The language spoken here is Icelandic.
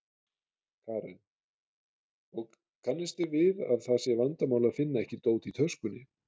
Karen: Og, kannist þið við að það sé vandamál að finna ekki dót í töskunni?